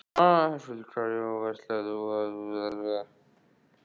Höskuldur Kári: Og verslar þú þá aðallega erlendis?